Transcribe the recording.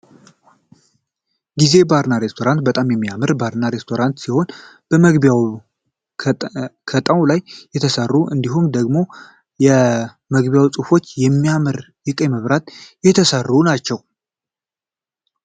ጊዜ ባርና ሬስቶራንት በጣም የሚያምር ባርና ሬስቶራንት ሲሆን መግቢያዎቹ ከጣው ላይ የተሰሩ እንዲሁም ደግሞ የመግቢያው ፅሁፎች ከሚያምር የቀይ መብራት የተሰሩ ናቸው።